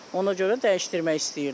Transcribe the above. Ona görə də dəyişdirmək istəyirdim.